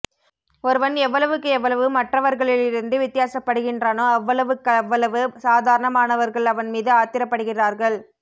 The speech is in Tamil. ஒருவன் எவ்வளவுக்கு எவ்வளவு மற்றவர்களிலிருந்து வித்தியாசப்படுகின்றானோ அவ்வளவுக்கவ்வளவு சாதாரணமானவர்கள் அவன் மீது ஆத்திரப்படுகிறார்கள்